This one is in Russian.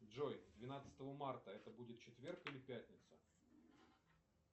джой двенадцатого марта это будет четверг или пятница